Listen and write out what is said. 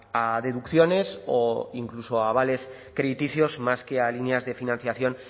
a deducciones o incluso a avales crediticios más que a líneas de financiación